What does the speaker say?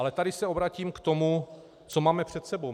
Ale tady se obracím k tomu, co máme před sebou.